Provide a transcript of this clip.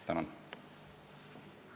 Tänan!